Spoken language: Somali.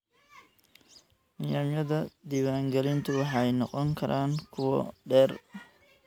Nidaamyada diiwaangelintu waxay noqon karaan kuwo dheer.